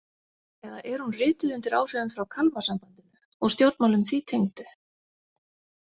Eða er hún rituð undir áhrifum frá Kalmarsambandinu og stjórnmálum því tengdu?